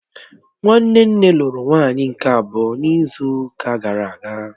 Nwanne nne lụrụ nwaanyị nke abụọ n'izu ụka gara aga